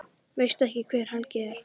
Veistu ekki hver Helgi er?